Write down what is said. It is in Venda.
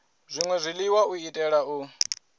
zwṅwe zwiḽiwa u itela u